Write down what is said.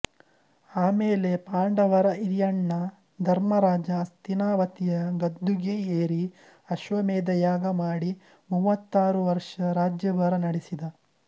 ಆಮೇಲೆ ಪಾಂಡವರ ಹಿರಿಯಣ್ಣ ಧರ್ಮರಾಜ ಹಸ್ತಿನಾವತಿಯ ಗದ್ದುಗೆ ಏರಿ ಅಶ್ವಮೇಧ ಯಾಗಮಾಡಿ ಮೂವತ್ತಾರು ವರ್ಷ ರಾಜ್ಯಭಾರ ನಡೆಸಿದ